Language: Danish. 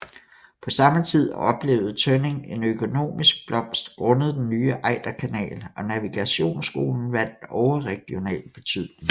På samme tid oplevede Tønning en økonomisk blomst grundet den nye Ejderkanal og navigationsskolen vandt overregional betydning